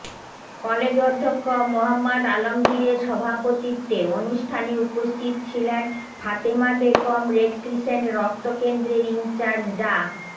college অধ্যক্ষ মোহাম্মদ আলমগীরের সভাপতিত্বে অনুষ্ঠানে উপস্থিত ছিলেন ফাতেমা বেগম রেডক্রিসেন্ট রক্ত কেন্দ্রের ইনচার্জ ডা